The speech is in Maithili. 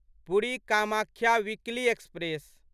Puri Kamakhya weekly express